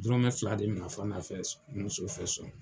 Dɔrɔmɛ fila de minɛ Fana fɛ, n muso de fɛ so.